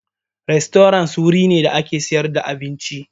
Rastorant wurin ne da ake sayar da abinci.